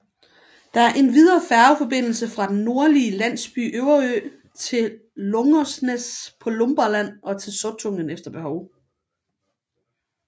Der er endvidere færgeforbindelse fra den nordlige landsby Överö til Långnäs på Lumparland og til Sottunga efter behov